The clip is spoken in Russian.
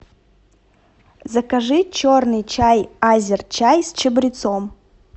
закажи черный чай азерчай с чабрецом